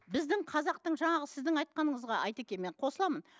біздің қазақтың жаңағы сіздің айтқаныңызға айтеке мен қосыламын